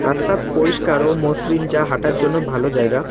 রাস্তা পরিষ্কার ও মসৃণ যা হাঁটার জন্য ভালো জায়গা।